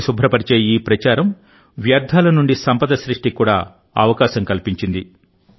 నదిని శుభ్రపరిచే ఈ ప్రచారం వ్యర్థాల నుండి సంపద సృష్టికి కూడా అవకాశం కల్పించింది